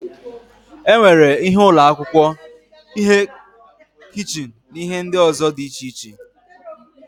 E nwere ihe ụlọ akwụkwọ, ihe kichin na ihe ndị ọzọ dị iche iche.